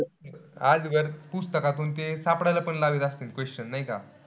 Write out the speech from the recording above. आजवर ते पुस्तकातून सापडायला पण लागत असतीं question नाई का?